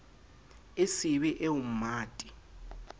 e se be eo mmate